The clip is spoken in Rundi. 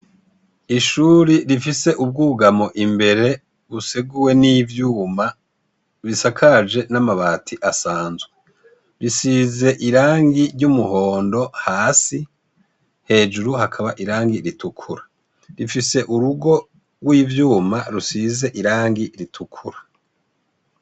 Ishuri rifise ubwugamo imbere buseguwe n'ivyuma bisakaje n'amabati asanzwe. Bisize irangi ry'umuhondo hasi, hejuru hakaba irangi ritukura. Rifise urugo rw'ivyumabisize irangi ritukura. ,